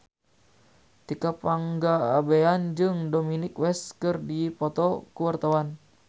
Tika Pangabean jeung Dominic West keur dipoto ku wartawan